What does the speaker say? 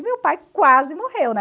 meu pai quase morreu, né?